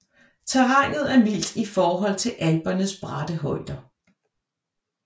Terrænet er mildt i forhold til Alpernes bratte højder